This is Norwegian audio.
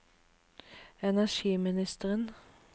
energiministeren